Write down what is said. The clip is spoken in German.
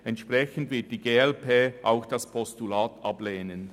Entsprechend wird die glp auch das Postulat ablehnen.